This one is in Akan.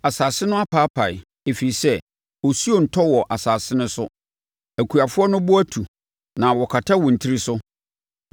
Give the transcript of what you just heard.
Asase no apaapae ɛfiri sɛ osuo ntɔ wɔ asase no so; akuafoɔ no bo atu na wɔkata wɔn tiri so.